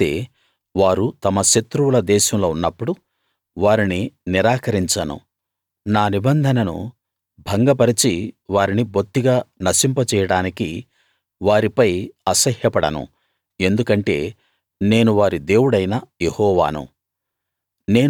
అయితే వారు తమ శత్రువుల దేశంలో ఉన్నప్పుడు వారిని నిరాకరించను నా నిబంధనను భంగపరచి వారిని బొత్తిగా నశింపజేయడానికి వారిపై అసహ్యపడను ఎందుకంటే నేను వారి దేవుడైన యెహోవాను